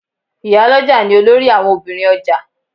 Ìyálọ́jà ni olórí àwon Obìnrin ọjà